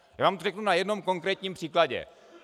Já vám to řeknu na jednom konkrétním příkladě.